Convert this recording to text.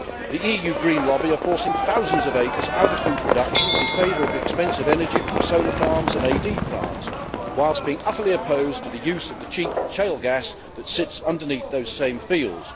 The EU Green lobby are forcing thousands of acres out of food production in favour of expensive energy from solar farms and AD plants, while being utterly opposed to the cheap shale gas that sits underneath those same fields.